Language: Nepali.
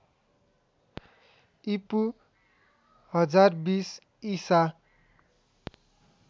ईपू १०२० ईसा